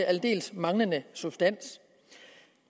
aldeles manglende substans